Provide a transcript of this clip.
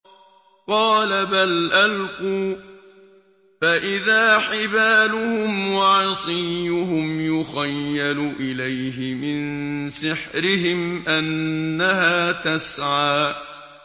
قَالَ بَلْ أَلْقُوا ۖ فَإِذَا حِبَالُهُمْ وَعِصِيُّهُمْ يُخَيَّلُ إِلَيْهِ مِن سِحْرِهِمْ أَنَّهَا تَسْعَىٰ